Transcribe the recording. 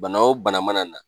Bana o bana mana na.